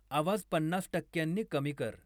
आवाज पन्नास टक्क्यांनी कमी कर